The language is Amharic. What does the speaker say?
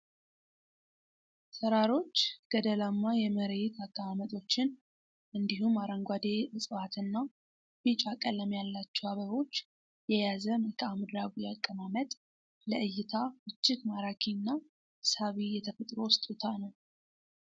ተራሮች ፣ገደላማ የመሬት አቀማመጦችን እንዲሁም አረንጓዴ እፅዋት እና ቢጫ ቀለም ያላቸው አበቦች የያዘ መልካምድራዊ አቀማመጥ ለእይታ እጅግ ማራኪ እና ሳቢ የተፈጥሮ ስጦታ ነው።